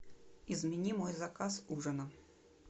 измени мой заказ ужина